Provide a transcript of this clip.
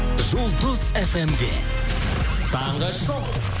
жұлдыз фм де таңғы шоу